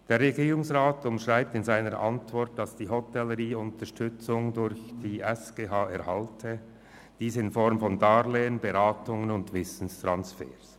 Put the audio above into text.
Der Regierungsrat umschreibt in seiner Antwort, dass die Hotellerie Unterstützung durch die SGH in Form von Darlehen, Beratungen und Wissenstransfer erhalte.